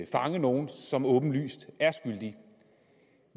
fange nogle som åbenlyst er skyldige